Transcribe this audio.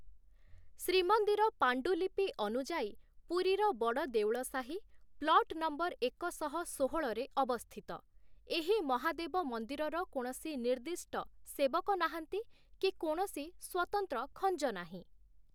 ଶ୍ରୀମନ୍ଦିର ପାଣ୍ଡୁଲିପି ଅନୁଯାୟୀ, ପୁରୀର ବଡ଼ଦେଉଳ ସାହି ପ୍ଲଟ୍ ନମ୍ବର ଏକ ଶହ ଷୋହଳରେ ଅବସ୍ଥିତ, ଏହି ମହାଦେବ ମନ୍ଦିରର କୌଣସି ନିର୍ଦ୍ଦିଷ୍ଟ ସେବକ ନାହାନ୍ତି କି କୌଣସି ସ୍ୱତନ୍ତ୍ର ଖଞ୍ଜ ନାହିଁ ।